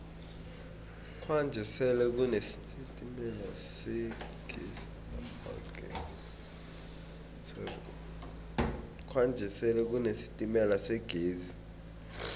kwanje sele kune sitemala segezi